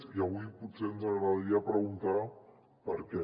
i avui potser ens agradaria preguntar per què